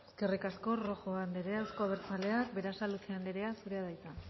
eskerrik asko rojo anderea euzko abertzaleak berasaluze anderea zurea da hitza